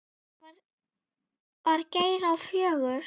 Það var Geir á fjögur.